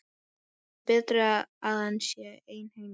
En er betra að hann sé einn heima?